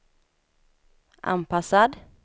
anpassad